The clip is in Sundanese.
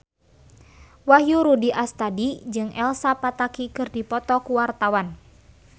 Wahyu Rudi Astadi jeung Elsa Pataky keur dipoto ku wartawan